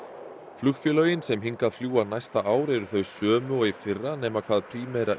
flugfélögin sem hingað fljúga næsta ár eru þau sömu og í fyrra nema hvað Primera